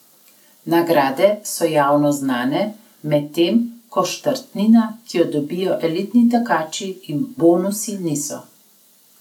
Nagrade so javno znane, medtem ko štartnina, ki jo dobijo elitni tekači, in bonusi niso.